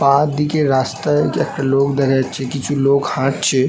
পা দিকের রাস্তায় একটা লোক দেখা যাচ্ছে। কিছু লোক হাঁটছে।